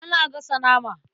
Ina gasa nama.